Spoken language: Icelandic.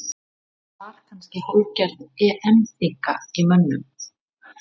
Var kannski hálfgerð EM þynnka í mönnum?